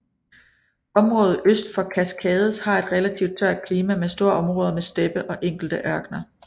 Området øst for Cascades har et relativt tørt klima med store områder med steppe og enkelte ørkener